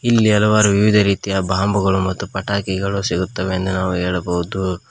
ಇಲ್ಲಿ ಹಲವಾರು ವಿವಿಧ ರೀತಿಯ ಬಾಂಬ್ ಗಳು ಮತ್ತು ಪಟಾಕಿಗಳು ಸಿಗುತ್ತವೆ ಎಂದು ನಾವು ಹೇಳಬಹುದು.